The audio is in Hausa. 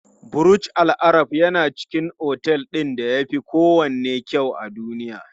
Burj Al Arab yana cikin otel ɗin da yafi kowanne kyau a duniya.